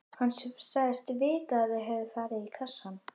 Hann sagðist vita að þau hefðu farið í kassana.